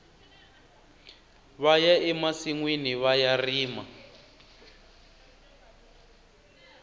vaya emasinwini vaya rima